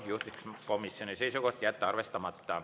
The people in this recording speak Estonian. Juhtivkomisjoni seisukoht on jätta see arvestamata.